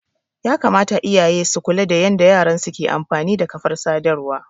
Yakamata iyaye su kula da yanda yaransu ke amfani da kafar sadarwa.